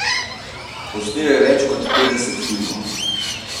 Posnel je več kot petdeset filmov.